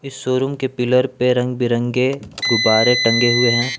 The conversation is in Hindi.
शोरूम के पिलर पे रंग बिरंगे गुब्बारे टंगे हुए हैं।